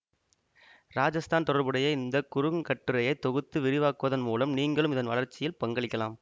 ராஜஸ்தான் தொடர்புடைய இந்த குறுங்கட்டுரையை தொகுத்து விரிவாக்குவதன் மூலம் நீங்களும் இதன் வளர்ச்சியில் பங்களிக்கலாம்